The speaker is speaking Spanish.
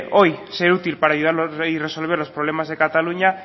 hoy ser útil para ayudar a resolver los problemas de cataluña